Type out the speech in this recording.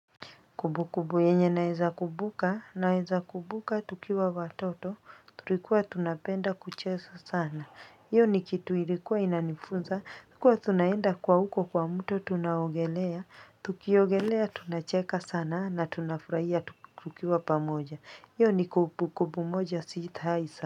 Kumbu kumbu yenye naeza kumbuka naeza kumbuka tukiwa watoto tulikuwa tunapenda kucheza sana hiyo ni kitu ilikuwa inanifunza kuwa tunaenda kwa huko kwa mto tunaogelea tukiogelea tunacheka sana na tunafurahia tukiwa pamoja hiyo ni kumbu kumbu moja sita isa.